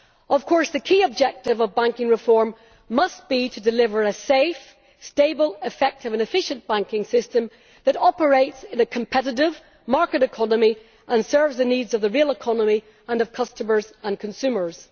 Of course, the key objective of banking reform must be to deliver a safe, stable, effective and efficient banking system that operates in a competitive market economy and serves the needs of the real economy and of customers and consumers.